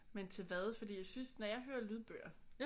Men til hvad fordi jeg synes når jeg hører lydbøger